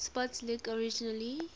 sports league originally